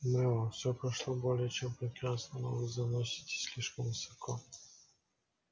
мэллоу всё прошло более чем прекрасно но вы заноситесь слишком высоко